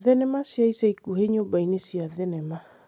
thenema cia ica ikuhĩ nyũmba-inĩ cia thenema